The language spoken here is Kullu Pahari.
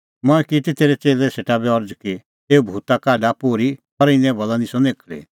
मंऐं की ती तेरै च़ेल्लै सेटा बी अरज़ कि एऊ भूता काढ पोर्ही पर इने भलै निस्सअ अह निखल़ी